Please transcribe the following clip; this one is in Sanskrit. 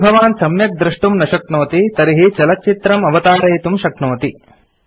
यदि भवान् सम्यक् द्रष्टुं न शक्नोति तर्हि चलच्चित्रं अवतारयितुं शक्नोति